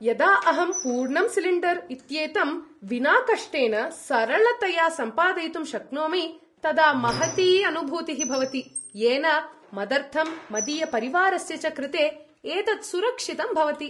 यदा अहं पूर्णं सिलिण्डर् इत्येतं विना कष्टेन सरलतया सम्पादयितुं शक्नोमि तदा महती अनुभूतिः भवति, येन मदर्थं मदीयपरिवारस्य च कृते एतत् सुरक्षितं भवति।